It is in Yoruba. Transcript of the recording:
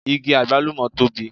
Igi àgbálùmọ̀ tóbi